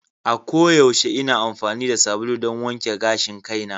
A koyaushe ina amfani da sabulu don wanke gashin kaina.